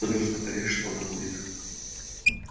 вы должны понять что она будет